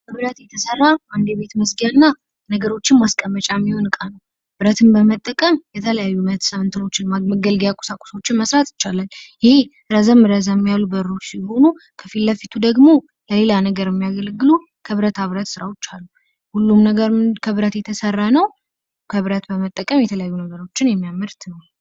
ከብረት የተሰራ አንድ የቤት መዝጊያና ነገሮችን ማስቀመጫ የሚሆን እቃ ነው። ብረትን በመጠቀምም የተለያዩ መገልገያ ቁሳቁሶችን መሥራት ይቻላል። ይሄ ረዘም ረዘም ያሉ በሮች ሲሆኑ ከፊት ለፊቱ ደግሞ ሌላ ነገር የሚያገለግሉ ከብረታ ብረት ሥራዎች አሉ። ሁሉም ነገር ከብረት የተሰራ ነው ።ከብረት በመጠቀምም የተለያዩ ነገሮችን የሚያመርት ነው።